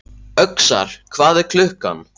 Öxar, hvað er klukkan?